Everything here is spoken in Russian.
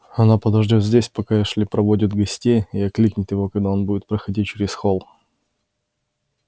она подождёт здесь пока эшли проводит гостей и окликнет его когда он будет проходить через холл